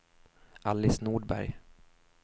Alice Nordberg